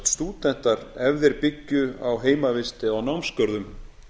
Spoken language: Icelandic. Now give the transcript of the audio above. stúdentar ef þeir byggju á heimavist eða á námsgörðum